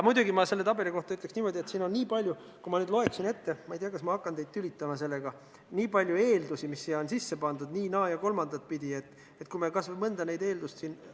Muidugi, ma selle tabeli kohta ütleks niimoodi, et siin on nii palju eeldusi – ma ei tea, kas ma hakkan teid nende ettelugemisega tülitama –, mis siia nii-, naa- ja kolmandat pidi sisse on pandud, et kui me kas või mõnda nendest eeldustest siin ...